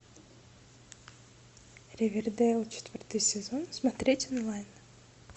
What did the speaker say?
ривердейл четвертый сезон смотреть онлайн